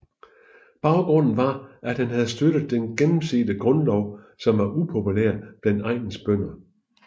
Baggrunden var at han havde støttet den gennemsete grundlov som var upopulær blandt egnens bønder